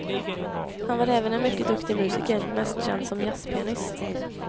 Han var även en mycket duktig musiker, mest känd som jazzpianist.